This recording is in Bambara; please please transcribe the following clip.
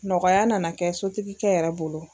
Nɔgɔya nana kɛ sotigikɛ yɛrɛ bolo.